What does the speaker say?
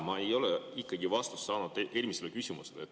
Ma ei ole ikkagi vastust saanud oma eelmisele küsimusele.